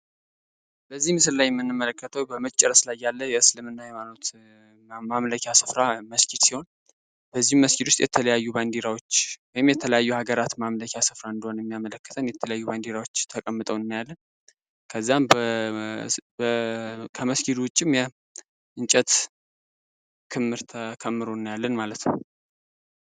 በዚህ ላይ የምንመለከተው በመጨረስ ላይ ያለ የእስልምና ሃይማኖት ማምለኪ መስጂድ ሲሆን በዚህ መስጊድ ላይ የተለያዩ ባንዲራዎች ወይም የተለያዩ ሀገራት ማምለኪያ ስፍራ እንደሆነ የሚናገሩ ባንድራዎች ምልክቶች ተቀምጠውልናል ከመስጊዱ ውጪ ያሉ የእንጨት ክምር ተከምሮ እናያለን ማለት ነው።